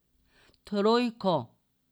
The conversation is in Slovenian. Trojko.